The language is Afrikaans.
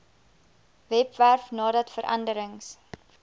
webwerf nadat veranderings